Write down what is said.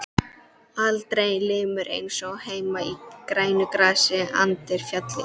Aldrei ilmur eins og heima í grænu grasi undir fjalli.